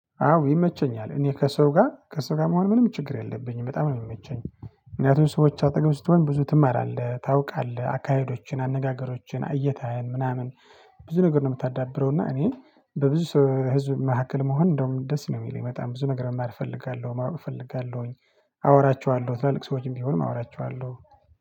አዎ ይመቸኛል እኔ ከሰው ጋር ከሰው ጋር መሆን ምንም ችግር የለብኝም በጣም ነው የሚመቸኝ። ምክንያቱም ሰዎች አጠገብ ስትሆን ብዙ ትማራለህ ታውቃለህ አካሄዶችን አነጋገሮችን እይታየን ምናምን። ብዙ ነገር ነው የምታዳብረው እና እኔ በብዙ ህዝብ መካከል መሆን እንደውም ደስ ነው የሚለው በጣም ብዙ ነገር መማር እፈልጋለሁ ማወቅ እፈልጋለሁኝ። አወራቸዋለሁ ትላልቅ ሰዎችም ቢሆንም አወራቸዋለሁ